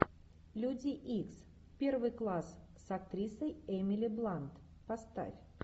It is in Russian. люди икс первый класс с актрисой эмили блант поставь